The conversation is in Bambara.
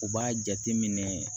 U b'a jateminɛ